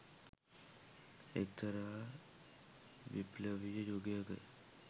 එක්තරා විප්ලවීය යුගයක.